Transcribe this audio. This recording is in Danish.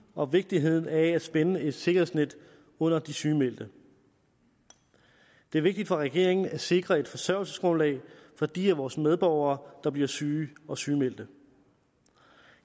og vigtigheden af at spænde et sikkerhedsnet ud under de sygemeldte det er vigtigt for regeringen at sikre et forsørgelsesgrundlag for de af vores medborgere der bliver syge og sygemeldte